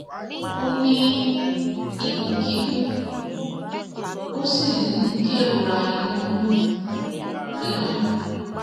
ó ní ikun kikun ó sì ń kerora inu rirun